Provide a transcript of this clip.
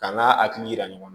Ka n'a hakili yira ɲɔgɔn na